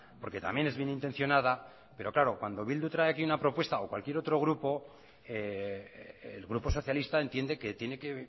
porque también es bienintencionada pero claro cuando bildu trae aquí una propuesta o cualquier otro grupo el grupo socialista entiende que tiene que